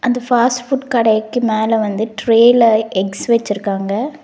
இந்த fast food கடைக்கு மேல வந்து ட்ரேல எக்ஸ் வச்சிருக்காங்க.